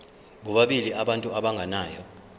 bobabili abantu abagananayo